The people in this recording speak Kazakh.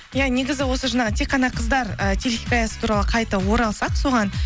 иә негізі осы жаңағы тек қана қыздар ы телехикаясы туралы қайта оралсақ соған